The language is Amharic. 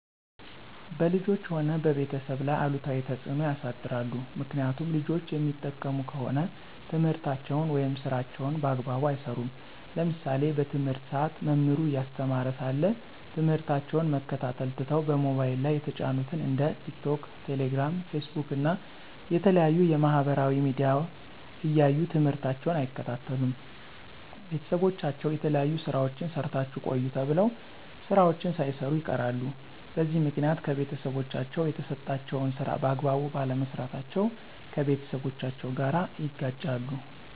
በልጆች ሆነ በቤተሰብ ላይ አሉታዊ ተፅዕኖ ያሳድራል። ምክኒያቱም ልጆች የሚጠቀሙ ከሆነ ትምህርታቸውን ወይም ስራቸውን በአግባቡ አይሰሩም። ለምሳሌ በትምህርት ሰአት መምህሩ እያስተማረ ሳለ ትምህርታቸውን መከታተል ትተው በሞባይል ላይ የተጫኑትን እንደ ቲክቶክ፣ ቴሌግራም፣ ፌስቡክ እና የተለያዩ የማህበራዊ ሚዲያዎች እያዩ ትምህርታቸውን አይከታተሉም። ቤተሰቦቻቸው የተለያዩ ስራዎችን ሰርታችሁ ቆዩ ተብለው ስራዎችን ሳይሰሩ ይቀራሉ። በዚህ ምክኒያት ከቤተሰቦቻቸው የተሰጣቸውን ስራ በአግባቡ ባለመስራታቸው ከቤተሰቦቻቸው ጋር ይጋጫሉ።